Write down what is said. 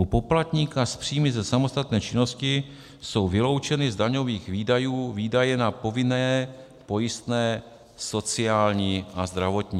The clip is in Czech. U poplatníka s příjmy ze samostatné činnosti jsou vyloučeny z daňových výdajů výdaje na povinné pojistné sociální a zdravotní.